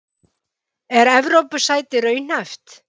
Er Evrópusæti raunhæft?